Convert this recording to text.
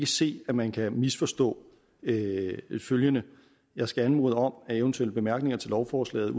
se at man kan misforstå følgende jeg skal anmode om at eventuelle bemærkninger til lovforslaget